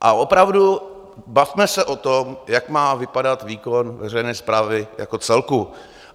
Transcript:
A opravdu, bavme se o tom, jak má vypadat výkon veřejné správy jako celku.